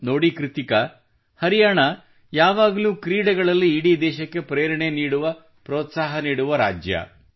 ನೋಡಿ ಕೃತ್ತಿಕಾ ಹರಿಯಾಣಾ ಯಾವಾಗಲೂ ಕ್ರೀಡೆಗಳಲ್ಲಿ ಇಡೀ ಭಾರತ ದೇಶಕ್ಕೆ ಪ್ರೇರಣೆ ನೀಡುವ ಪ್ರೋತ್ಸಾಹ ನೀಡುವ ರಾಜ್ಯವಾಗಿದೆ